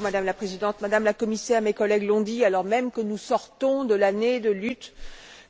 Madame la Présidente, Madame la Commissaire, comme mes collègues l'ont dit, alors même que nous sortons de l'Année de la lutte